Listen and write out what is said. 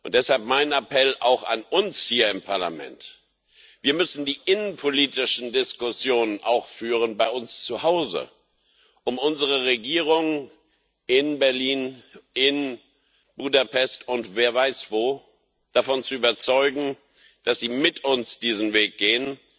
Deshalb mein Appell auch an uns hier im Parlament Wir müssen die innenpolitischen Diskussionen auch bei uns zu Hause führen, um unsere Regierungen in Berlin, in Budapest und wer weiß wo davon zu überzeugen, dass sie mit uns diesen Weg gehen.